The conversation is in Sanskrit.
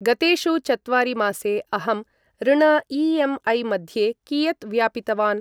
गतेषु चत्वारि मासे अहं ऋण ई.एम्.ऐ. मध्ये कियत् व्यापितवान्?